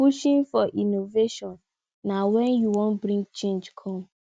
pushing for innovation na when you wan bring change come